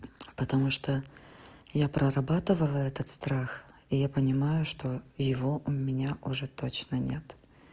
потому что я проработывала этот страх и я понимаю что его у меня уже точно нет